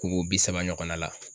Ko ko bi saba ɲɔgɔnna la